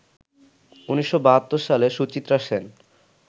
১৯৭২ সালে সুচিত্রা সেন